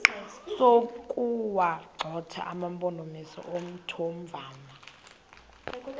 sokuwagxotha amampondomise omthonvama